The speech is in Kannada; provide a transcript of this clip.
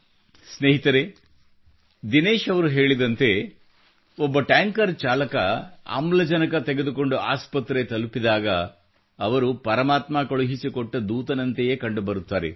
ಸ್ನೇಹಿತರೆ ದಿನೇಶ್ ಅವರು ಹೇಳಿದಂತೆ ಒಬ್ಬ ಟ್ಯಾಂಕರ್ ಚಾಲಕ ಆಮ್ಲಜನಕtanker ಡ್ರೈವರ್ ಆಕ್ಸಿಜನ್ ತೆಗೆದುಕೊಂಡು ಆಸ್ಪತ್ರೆ ತಲುಪಿದಾಗ ಅವರು ಪರಮಾತ್ಮ ಕಳುಹಿಸಿಕೊಟ್ಟ ದೂತನಂತೆಯೇ ಕಂಡುಬರುತ್ತಾರೆ